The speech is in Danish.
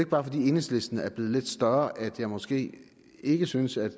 bare fordi enhedslisten er blevet lidt større at jeg måske ikke synes at